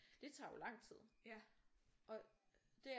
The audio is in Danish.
Det tager jo langt tid og det er